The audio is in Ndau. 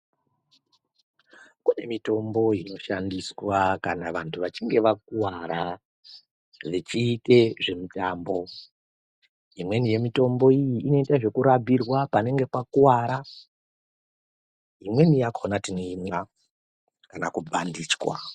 Kune mitombo inoshandiswa kana vantu vachinge vakuwara vechiite mitambo. Imweni yemitombo iyi inoite zvekurabhirwa panenge pakuwara. Imweni yakhona tinoimwa kana kubhandijwa.